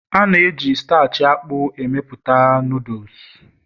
A na-eji starch akpu amepụta Noodles